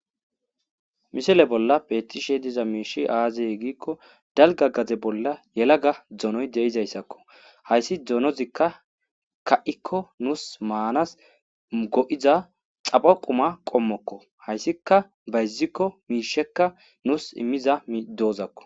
Misile bolla beetishe dizayssi aaze giiko dalgga gade bolla yelaga donoy de7izayssako hayssi donozi nuusi maanas go7iza xapho quma qommoko hayssika nuus bayziko miisha immiza doozako.